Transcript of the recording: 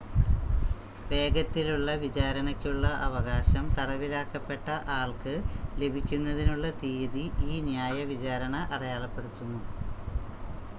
വേഗത്തിലുള്ള വിചാരണയ്ക്കുള്ള അവകാശം തടവിലാക്കപ്പെട്ട ആൾക്ക് ലഭിക്കുന്നതിനുള്ള തീയതി ഈ ന്യായ വിചാരണ അടയാളപ്പെടുത്തുന്നു